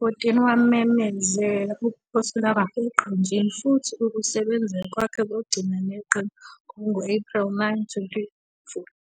2014, wamemezela ukuphothula kwakhe eqenjini futhi ukusebenza kwakhe kokugcina neqembu kwakungu-Ephreli 9, 2014.